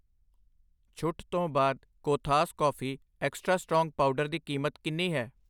ਛੁੱਟ ਤੋਂ ਬਾਅਦ ਕੋਥਾਸ ਕੌਫੀ ਵਾਧੂ ਮਜ਼ਬੂਤ ਪਾਊਡਰ ਦੀ ਕੀਮਤ ਕਿੰਨੀ ਹੈ ?